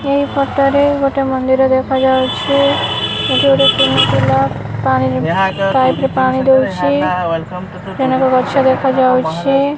ଏହି ଫଟୋର ରେ ଗୋଟେ ମନ୍ଦିର ଦେଖାଯାଉଛି ଏଠି ଗୋଟେ କୁନି ପିଲା ପାଣି ପାଇପ ରେ ପାଣି ଦଉଛି ଅନେକ ଗଛ ଦେଖାଯାଉଛି।